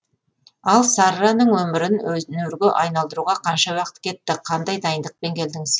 ал сарраның өмірін өнерге айналдыруға қанша уақыт кетті қандай дайындықпен келдіңіз